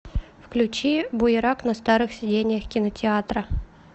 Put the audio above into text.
включи буерак на старых сидениях кинотеатра